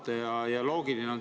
See on loogiline.